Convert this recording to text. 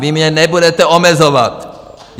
Vy mě nebudete omezovat!